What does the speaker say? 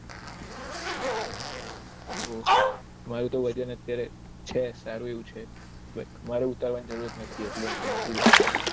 ઓછ મારે તો વજન અત્યારે છે સારું એવું છે એટલે મારે ઉતારવાનું જરૂરત નથી એટલે હું નથી જતો